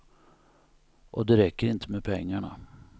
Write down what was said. Och det räcker inte med pengarna.